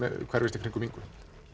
hverfist í kringum Ingu